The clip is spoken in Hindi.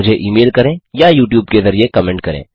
मुझे ई मेल करें या यूट्यूब के ज़रिए कमेन्ट करें